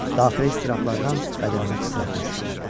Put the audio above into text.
Daxili istirablardan bədənimə titrətmə düşdü.